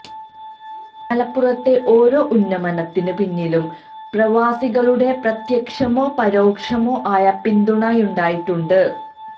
മലപ്പുറത്തെ ഓരോ ഉന്നമനത്തിന് പിന്നിലും പ്രവാസികളുടെ പ്രത്യക്ഷമോ പരോക്ഷമോ ആയ പിന്തുണയുണ്ടായിട്ടുണ്ട്